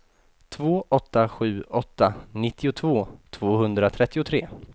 två åtta sju åtta nittiotvå tvåhundratrettiotre